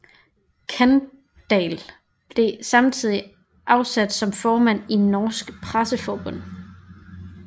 Kandahl blev samtidig afsat som formand i Norsk Presseforbund